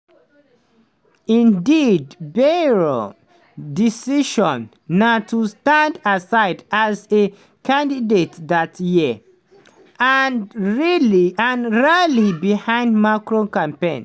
indeed bayrou decision na to stand aside as a candidate dat year - and rally behind macron campaign.